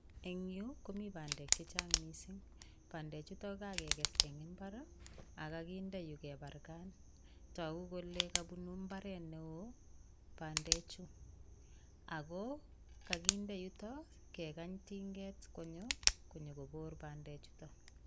Eng Yu komi bandek checheang mising bandek chutok kokakekes eng imbar akakinde yu keparkan toku kole kapunu mbaret neo pandechu Ako kakinde yuto kekany tinget konyo konyokopor pandechuto